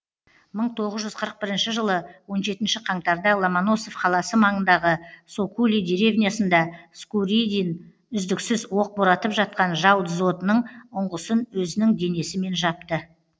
мың тоғыз жүз қырық бірінші жылы он жетінші қаңтарда ломоносов қаласы маңындағы сокули деревнясында скуридин үздіксіз оқ боратып жатқан жау дзотының ұңғысын өзінің денесімен жапты